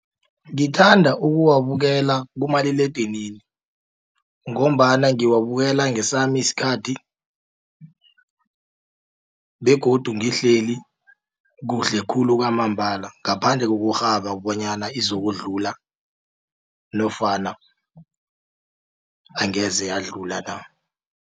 Ngithanda ukuwabukela kumaliledinini ngombana ngiwabukela ngesami isikhathi begodu ngihleli kuhle khulu kwamambala ngaphandle kokurhaba bonyana izokudlula nofana angeze yadlula na.